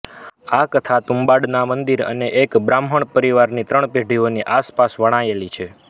આ કથા તુમ્બાડના મંદિર અને એક બાહ્મણ પરિવારની ત્રણ પેઢીઓની આસપાસ વણાયેલી છે